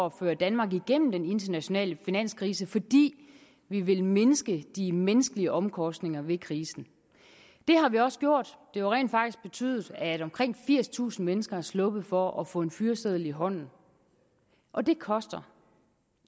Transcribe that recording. at føre danmark igennem den internationale finanskrise fordi vi vil mindske de menneskelige omkostninger ved krisen det har vi også gjort det jo rent faktisk betydet at omkring firstusind mennesker er sluppet for at få en fyreseddel i hånden og det koster